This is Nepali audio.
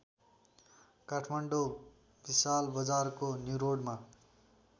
काठमाडौँ विशालबजारको न्युरोडमा